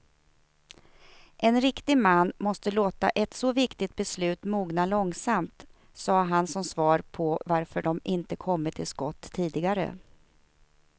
En riktig man måste låta ett så viktigt beslut mogna långsamt, sade han som svar på varför de inte kommit till skott tidigare.